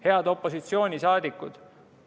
Head opositsiooni liikmed!